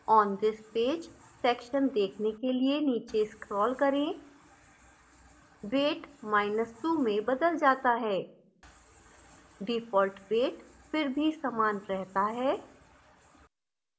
on this page section देखने के लिए नीचे scroll करें weight2 में बदल जाता है default weight फिर भी समान रहता है